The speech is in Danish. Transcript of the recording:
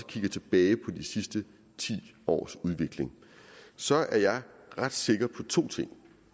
kigger tilbage på de sidste ti års udvikling så er jeg ret sikker på to ting